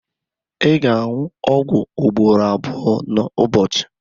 ị ga-aṅụ ọgwụ ugboro abụọ n'ụbọchị